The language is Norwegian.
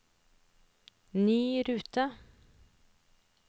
ny rute